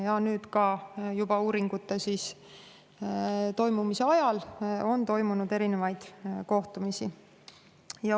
Ja nüüd, ka uuringute toimumise ajal, on toimunud erinevaid kohtumisi.